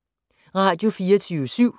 Radio24syv